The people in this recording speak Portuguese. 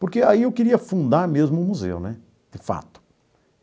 Porque aí eu queria fundar mesmo um museu né, de fato.